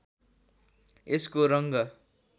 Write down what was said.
यसको रङ्ग